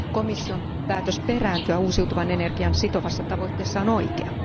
Komission päätös perääntyä uusiutuvan energian sitovassa tavoitteessa on oikea.